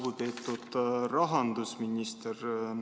Lugupeetud rahandusminister!